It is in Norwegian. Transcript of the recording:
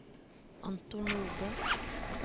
Anton Nordbø